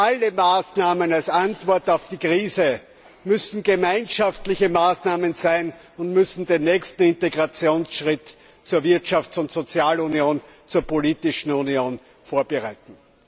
Alle Maßnahmen als Antwort auf die Krise müssen gemeinschaftliche Maßnahmen sein und den nächsten Integrationsschritt zur Wirtschafts und Sozialunion sowie zur politischen Union vorbereiten.